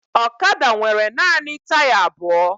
Ọkada nwere naanị taya abụọ